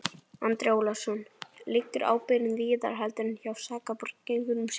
Andri Ólafsson: Liggur ábyrgðin víðar heldur en hjá sakborningnum sjálfum?